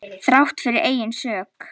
Þrátt fyrir eigin sök.